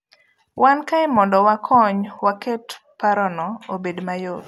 Wan kae mondo wakony waket parono obed mayot.